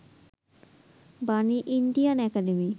Bani, Indian academy